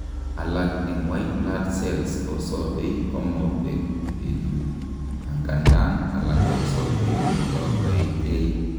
alak en white blood cells kosobei komobek betut, angandan alak kosobei kogoekei